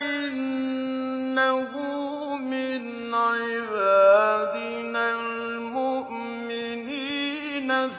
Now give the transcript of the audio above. إِنَّهُ مِنْ عِبَادِنَا الْمُؤْمِنِينَ